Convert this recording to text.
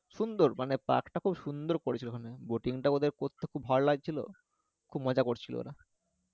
সুন্দর মানে পার্কটা খুব সুন্দর করেছিলো করতে খুব ভয় লাগছিলো খুব কজা করছিলো ওরা